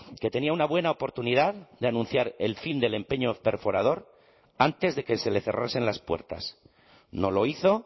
que tenía una buena oportunidad de anunciar el fin del empeño perforador antes de que se le cerrasen las puertas no lo hizo